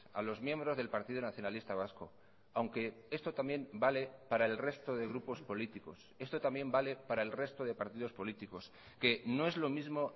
a los miembros del partido nacionalista vasco aunque esto también vale para el resto de grupos políticos esto también vale para el resto de partidos políticos que no es lo mismo